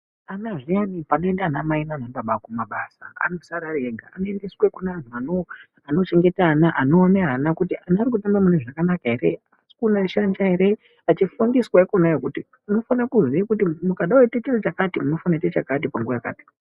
Ana zviyani panoenda ana mai nanababa kumabasa anosara ega anoendeswa kune antu anochengeta ana anoona kuti ana arikuswere munezvakanaka yere haasi kushanja yere munofana vachifundiswa ikonayo kuti kana muchida kuite chakana munofana kuita chakati panguva yakati .